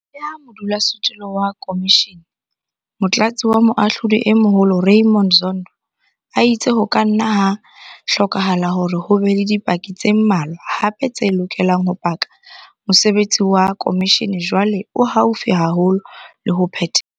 Leha modulasetulo wa khomishene, Motlatsi wa Moahlodi e Moholo Raymond Zondo a itse ho ka nna ha hlokahala hore ho be le dipaki tse mmalwa hape tse lokelang ho paka, mosebetsi wa khomishene jwale o haufi haholo le ho phethelwa.